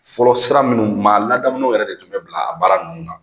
Fɔlɔ sira minnu kun b'a la ladamulenw yɛrɛ de tun bɛ bila a baara ninnu na